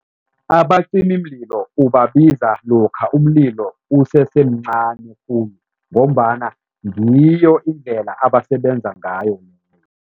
Abacimimlilo ubabiza lokha umlilo usesemncani khulu ngombana ngiyo indlela abasebenza ngayo.